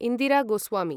Indira Goswami